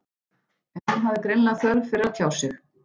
En hún hafði greinilega þörf fyrir að tjá sig.